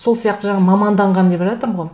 сол сияқты жаңа маманданған деп жатырмын ғой